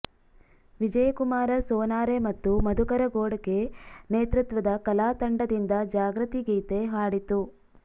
ವಿಜಯಕುಮಾರ ಸೋನಾರೆ ಮತ್ತು ಮಧುಕರ ಘೋಡಕೆ ನೇತೃತ್ವದ ಕಲಾತಂಡದಿಂದ ಜಾಗೃತಿಗೀತೆ ಹಾಡಿತು